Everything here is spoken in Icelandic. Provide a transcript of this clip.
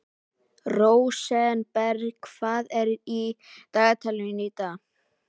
Rósenberg, hvað er í dagatalinu í dag?